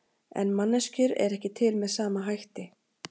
En manneskjur eru ekki til með sama hætti.